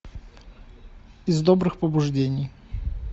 из добрых побуждений